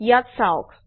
ইয়াত চাওক